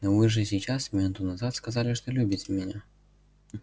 но вы же сейчас минуту назад сказали что любите меня